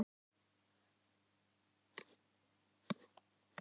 Af hverju er það fyndið?